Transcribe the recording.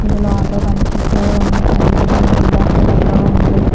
ఇందులో ఆటో కనిపిస్తూ ఉంది అది ఎల్లో మరియు బ్లాక్ కలర్ లో ఉంది.